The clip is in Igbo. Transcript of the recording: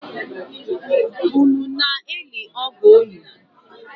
Unu na-eli ọgọ unu?